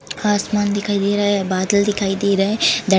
आसमान दिखाई दे रहा है बादल दिखाई दे रहे हैं ध --